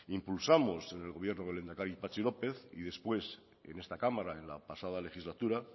impulsamos en el gobierno del lehendakari patxi lópez y después en esta cámara en la pasada legislatura